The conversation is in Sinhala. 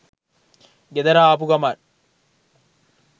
ගෙදර ආපු ගමන්